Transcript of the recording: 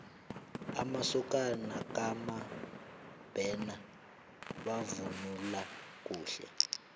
amasokana kamabena bavunula kuhle